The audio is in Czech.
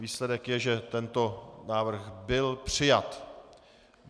Výsledek je, že tento návrh byl přijat.